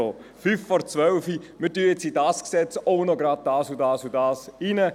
«So, fünf vor zwölf, in dieses Gesetz packen wir auch gleich noch dieses und jenes hinein.